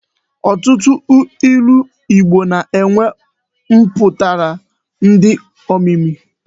Ọtụtụ ilu Igbo na-enwe mpụtara dị omimi.